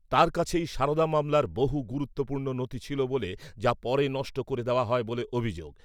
তাঁর কাছেই , সারদা মামলার বহু গুরুত্বপূর্ণ নথি ছিল বলে , যা পরে নষ্ট করে দেওয়া হয় বলে অভিযোগ।